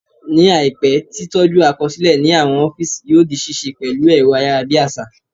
Ní àìpé, tí tọ́jú àkọsílẹ̀ ní àwọn ọ́físì yóò di ṣíṣe pẹ̀lú ẹ̀rọ ayárabíàṣá